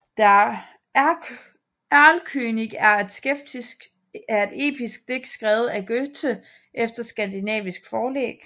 Der Erlkönig er et episk digt skrevet af Goethe efter skandinavisk forlæg